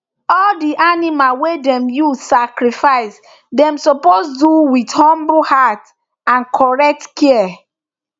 all the animal wey dem use sacrifice dey suppose do with humble heart and correct care